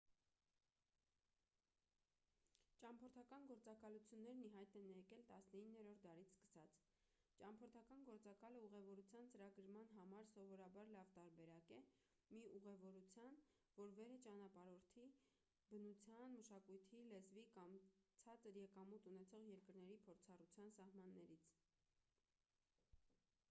ճամփորդական գործակալություններն ի հայտ են եկել 19-րդ դարից սկսած ճամփորդական գործակալը ուղևորության ծրագրման համար սովորաբար լավ տարբերակ է մի ուղևորության որ վեր է ճանապարհորդի բնության մշակույթի լեզվի կամ ցածր եկամուտ ունեցող երկրների փորձառության սահմաններից